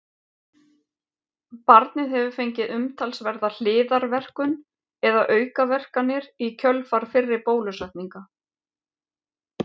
barnið hefur fengið umtalsverða hliðarverkun eða aukaverkanir í kjölfar fyrri bólusetninga